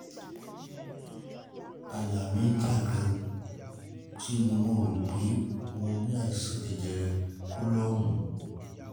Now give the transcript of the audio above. àyà mí já gan an ṣe ni mo rò pé mo ní àisan jẹjẹrẹ kólọ́ọ̀mù